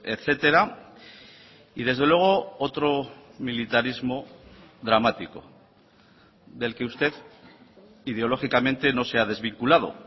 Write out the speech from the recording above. etcétera y desde luego otro militarismo dramático del que usted ideológicamente no se ha desvinculado